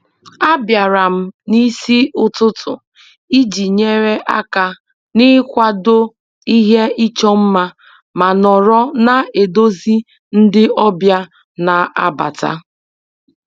Abịara m n'isi ụtụtụ iji nyere aka n'ịkwado ihe ịchọ mma ma nọrọ na-eduzi ndị ọbịa na-abata